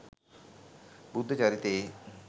බුද්ධ චරිතයේ